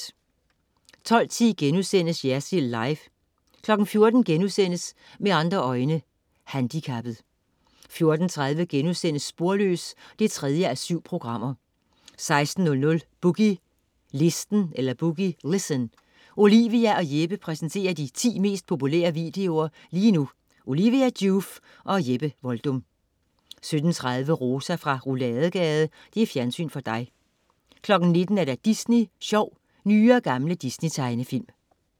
12.10 Jersild Live* 14.00 Med andre øjne: handikappet* 14.30 Sporløs 3:7* 16.00 Boogie Listen. Olivia og Jeppe præsenterer de 10 mest populære videoer lige nu. Olivia Joof og Jeppe Voldum 17.30 Rosa fra Rouladegade. Fjernsyn for dig 19.00 Disney Sjov. Nye og gamle Disney-tegnefilm